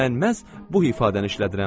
Mən məhz bu ifadəni işlədirəm.